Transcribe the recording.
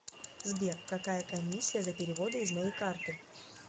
сбер какая комиссия за переводы из моей карты